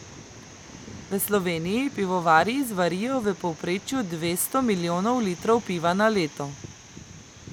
V Sloveniji pivovarji zvarijo v povprečju dvesto milijonov litrov piva na leto.